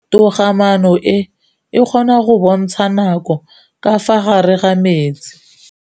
Toga-maanô e, e kgona go bontsha nakô ka fa gare ga metsi.